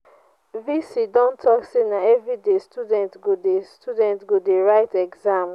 v.c don talk say na everyday students go dey students go dey write exam